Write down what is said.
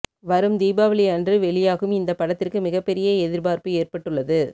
வரும் தீபாவளி அன்று வெளியாகும் இந்த படத்திற்கு மிகப்பெரிய எதிர்பார்ப்பு ஏற்பட்டுள்ளது